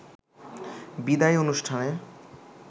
বিদায়ী অনুষ্ঠানে